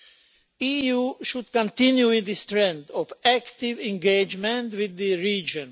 The EU should continue in this trend of active engagement with the region.